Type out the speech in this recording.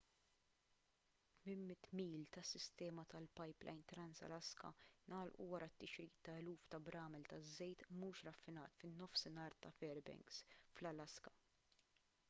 800 mil tas-sistema tal-pipeline trans-alaska ngħalqu wara t-tixrid ta' eluf ta' bramel ta' żejt mhux raffinat fin-nofsinhar ta' fairbanks fl-alaska